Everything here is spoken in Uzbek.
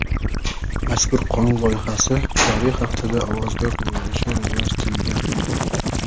Mazkur qonun loyihasi joriy haftada ovozga qo‘yilishi rejalashtirilgan.